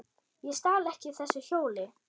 Ég stal ekki þessu hjóli!